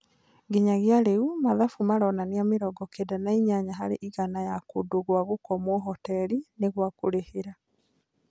Nginya rĩu madhabu maronania Mĩrongo kenda na inyanya harĩ igana ya kũndũ gwa gũkomwo hoteri nĩgwakũrehera